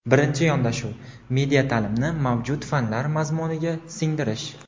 Birinchi yondashuv – media taʼlimni mavjud fanlar mazmuniga singdirish.